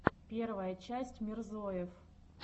первая часть мирзоев